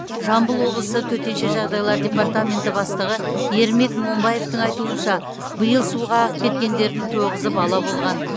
жамбыл облысы төтенше жағдайлар департаменті бастығы ермек момбаевтың айтуынша биыл суға ағып кеткендердің тоғызы бала болған